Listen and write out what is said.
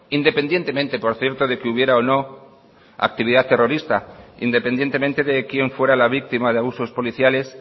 independientemente por cierto de que hubiera o no actividad terrorista independientemente de quien fuera la víctima de abusos policiales